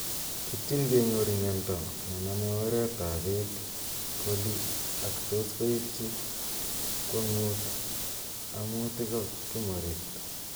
ipchin kenyor myanta nename oret ab beek coli ak tos koibchi kwong'ut amu tiko kimorit